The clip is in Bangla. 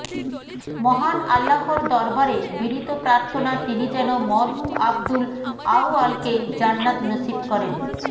মহান আল্লাহর দরবারে বিনীত প্রার্থনা তিনি যেন মরহুম আব্দুল আউয়ালকে জান্নাত নসিব করেন